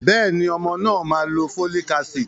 Bẹ́ẹ̀ni, ọmọ náà má lo folic acid.